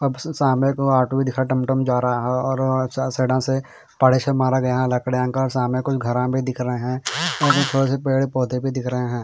अब स सामने को ऑटो भी दिखा टमटम जा रहा है और साइडा से पाड़ा से मारा गया कुछ घरा भी दिख रहे है और थोड़े से पौधे भी दिख रहे हैं।